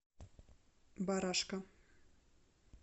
барашка